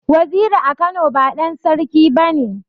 Waziri a Kano ba ɗan Sarki bane.